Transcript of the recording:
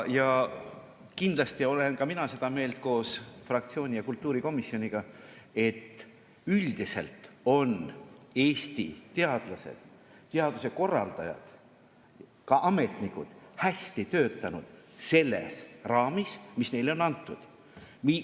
Kindlasti olen ka mina seda meelt koos fraktsiooni ja kultuurikomisjoniga, et üldiselt on Eesti teadlased, teaduse korraldajad ja ka ametnikud hästi töötanud selles raamis, mis neile on antud.